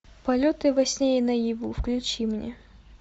полеты во сне и наяву включи мне